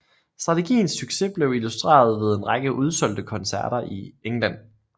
Strategiens succes blev illustreret ved en række udsolgte koncerter i England